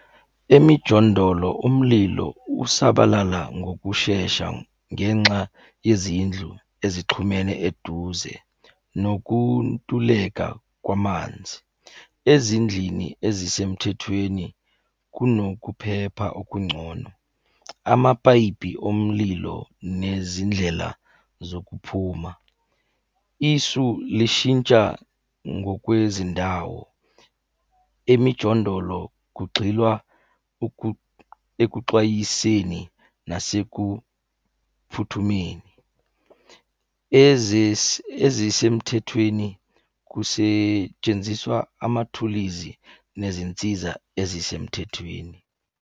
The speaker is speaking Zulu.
Emijondolo umlilo usabalala ngokushesha ngenxa yezindlu ezixhumene eduze nokuntuleka kwamanzi. Ezindlini ezisemthethweni kunokuphepha okungcono, amapayipi omlilo nezindlela zokuphuma. Isu lishintsha ngokwezindawo, emijondolo kugxilwa ekuxwayiseni nasekuphuthumeni. Ezisemthethweni, kusetshenziswa amathulizi nezinsiza ezisemthethweni.